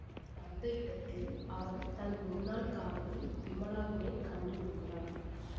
வந்த இடத்தில் அவன் தன் முன்னாள் காதலி விமலாவினை கண்டுகொள்கிறான்